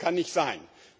Das kann nicht sein!